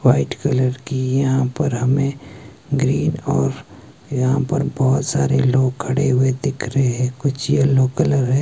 White colour की यहां पर हमें ग्रीन और यहां पर बहोत सारे लोग खड़े हुए दिख रहे हैं कुछ यह यलो कलर है।